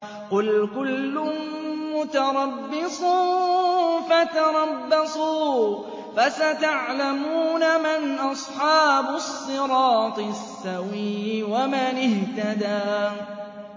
قُلْ كُلٌّ مُّتَرَبِّصٌ فَتَرَبَّصُوا ۖ فَسَتَعْلَمُونَ مَنْ أَصْحَابُ الصِّرَاطِ السَّوِيِّ وَمَنِ اهْتَدَىٰ